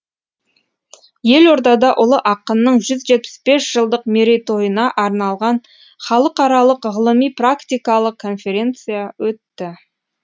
елордада ұлы ақынның жүз жетпіс бес жылдық мерейтойына арналған халықаралық ғылыми практикалық конференция өтті